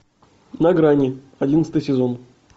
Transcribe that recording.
на грани одиннадцатый сезон